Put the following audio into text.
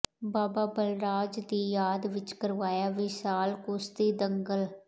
ਬਾਬਾ ਬਲਰਾਜ ਦੀ ਯਾਦ ਵਿੱਚ ਕਰਵਾਇਆ ਵਿਸ਼ਾਲ ਕੁਸ਼ਤੀ ਦੰਗਲ